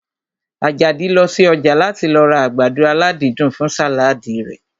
Àjàdí lọ sí ọjà láti lọ ra àgbàdo aládídùn fún sàládì rẹ̀